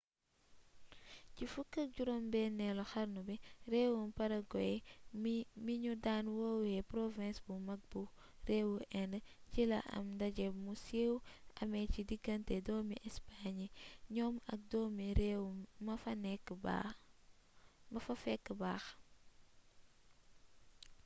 ci 16eelu xarnu bi réewum paraguay mi ñu daan woowe «province bu mag bu réewu inde» ci la am ndaje mu siiw amee ci diggante doomi espagne yi ñoom ak doomi réew ma fa fekk baax